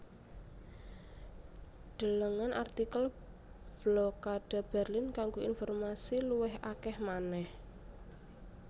Delengen artikel Blokade Berlin kanggo informasi luwih akèh manèh